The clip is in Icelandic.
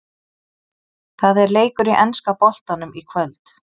Það er leikur í enska boltanum í kvöld!